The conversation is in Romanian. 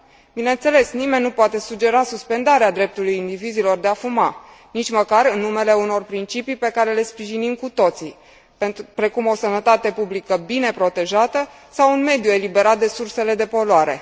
Bineînțeles, nimeni nu poate sugera suspendarea dreptului indivizilor de a fuma, nici măcar în numele unor principii pe care le sprijinim cu toții, precum o sănătate publică bine protejată sau un mediu eliberat de sursele de poluare.